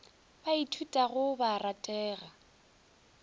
ba ithutago ba a ratega